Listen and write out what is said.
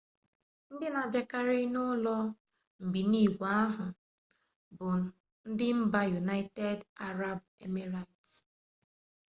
ndị na-abịakarị n'ụlọ mbinigwe ahụ bụ ndị mba yunaịtedị arabụ emireti